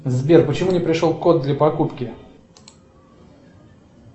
сбер почему не пришел код для покупки